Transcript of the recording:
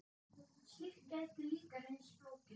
Slíkt gæti líka reynst flókið.